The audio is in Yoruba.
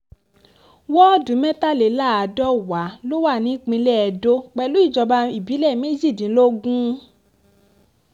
wọ́ọ̀dù mẹ́tàléláàdọ́wà ló wà nípìnlẹ̀ edo pẹ̀lú ìjọba ìbílẹ̀ méjìdínlógún